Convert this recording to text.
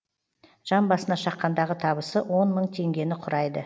жан басына шаққандағы табысы он мың теңгені құрайды